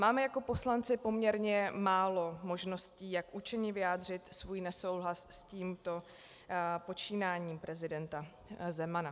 Máme jako poslanci poměrně málo možností, jak účinně vyjádřit svůj nesouhlas s tímto počínáním prezidenta Zemana.